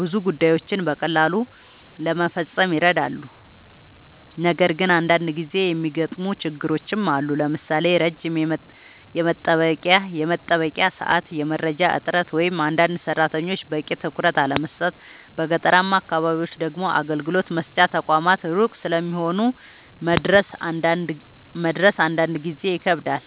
ብዙ ጉዳዮችን በቀላሉ ለመፈጸም ይረዳሉ። ነገር ግን አንዳንድ ጊዜ የሚገጥሙ ችግሮችም አሉ፣ ለምሳሌ ረጅም የመጠበቂያ ሰዓት፣ የመረጃ እጥረት ወይም አንዳንድ ሰራተኞች በቂ ትኩረት አለመስጠት። በገጠራማ አካባቢዎች ደግሞ አገልግሎት መስጫ ተቋማት ሩቅ ስለሚሆኑ መድረስ አንዳንድ ጊዜ ይከብዳል።